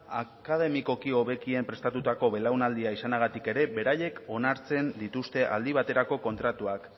akademikoki hobekien prestatutako belaunaldia izanagatik ere beraiek onartzen dituzte aldi baterako kontratuak